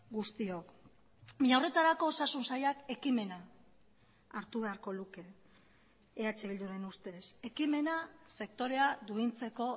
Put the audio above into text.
guztiok baina horretarako osasun sailak ekimena hartu beharko luke eh bilduren ustez ekimena sektorea duintzeko